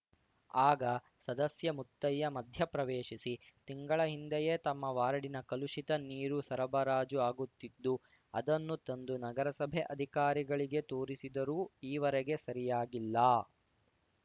ಆಗ ಸದಸ್ಯ ಮುತ್ತಯ್ಯ ಮಧ್ಯ ಪ್ರವೇಶಿಸಿ ತಿಂಗಳ ಹಿಂದೆಯೇ ತಮ್ಮ ವಾರ್ಡಿನ ಕಲುಷಿತ ನೀರು ಸರಬರಾಜು ಆಗುತ್ತಿದ್ದು ಅದನ್ನು ತಂದು ನಗರಸಭೆ ಅಧಿಕಾರಿಗಳಿಗೆ ತೋರಿಸಿದರೂ ಈವರೆಗೆ ಸರಿಯಾಗಿಲ್ಲ